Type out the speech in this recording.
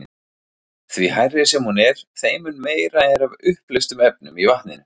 Því hærri sem hún er, þeim mun meira er af uppleystum efnum í vatninu.